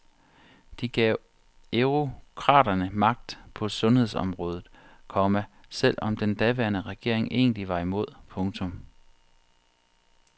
De gav eurokraterne magt på sundhedsområdet, komma selv om den daværende regering egentlig var imod. punktum